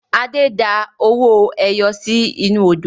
Adé da owó ẹyọ sì inú Odò